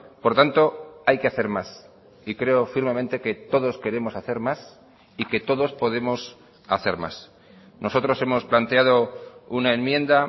por tanto hay que hacer más y creo firmemente que todos queremos hacer más y que todos podemos hacer más nosotros hemos planteado una enmienda